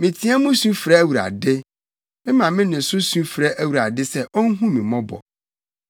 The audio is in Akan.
Meteɛ mu su frɛ Awurade; mema me nne so su frɛ Awurade sɛ onhu me mmɔbɔ.